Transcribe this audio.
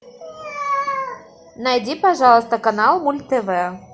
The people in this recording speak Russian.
найди пожалуйста канал мульт тв